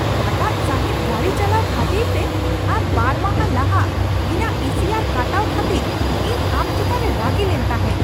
ᱨᱟᱜᱟᱫ ᱥᱟᱹᱦᱤᱡ ᱜᱟᱹᱰᱤ ᱪᱟᱞᱟᱣ ᱠᱷᱟᱹᱛᱤᱨᱛᱮ ᱟᱨ ᱵᱟᱨ ᱢᱟᱦᱟ ᱞᱟᱦᱟ ᱤᱧᱟᱹᱜ ᱤ ᱥᱤ ᱟᱨ ᱠᱟᱴᱟᱣ ᱠᱷᱟᱹᱛᱤᱨ ᱤᱧ ᱟᱢ ᱪᱮᱛᱟᱱ ᱨᱮ ᱨᱟᱹᱜᱤᱞᱮᱱ ᱛᱟᱦᱮᱸ ᱾